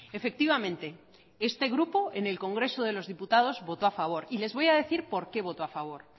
efectivamente este grupo en el congreso de los diputados votó a favor y les voy a decir por qué votó a favor